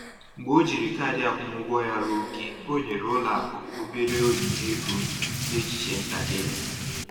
Mgbe o jiri kaadị akwụmụgwọ ya ruo ókè, o nyere ụlọ akụ obere onyinye ego n’echiche ntakịrị